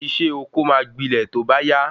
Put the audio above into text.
Isé oko máa gbilẹ to ba ya